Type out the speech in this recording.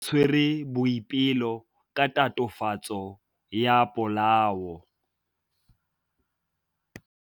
Maphodisa a tshwere Boipelo ka tatofatsô ya polaô.